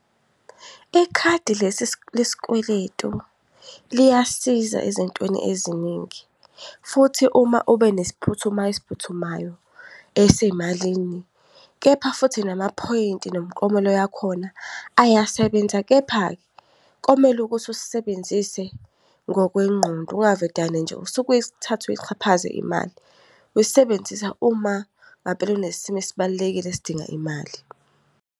Ikhadi lesikweletu liyasiza ezintweni eziningi. Futhi, uma ube nesiphuthumayo esiphuthumayo esemalini, kepha futhi namaphoyinti nomuklomelo yakhona ayasebenza. Kepha-ke, komele ukuthi usisebenzise ngokwengqondo, ungavedane nje usuke uyithathe uyixhaphaze imali. Uyisebenzisa uma ngampela kunesimo esibalulekile esidinga imali.